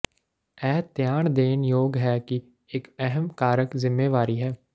ਇਹ ਧਿਆਨ ਦੇਣ ਯੋਗ ਹੈ ਕਿ ਇਕ ਅਹਿਮ ਕਾਰਕ ਜ਼ਿੰਮੇਵਾਰੀ ਹੈ